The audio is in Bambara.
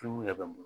bɛ n bolo